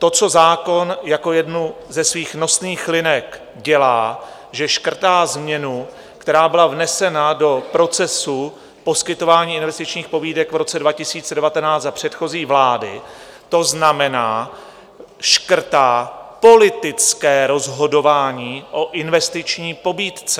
To co zákon jako jednu ze svých nosných linek dělá, že škrtá změnu, která byla vnesena do procesu poskytování investičních pobídek v roce 2019 za předchozí vlády, to znamená, škrtá politické rozhodování o investiční pobídce.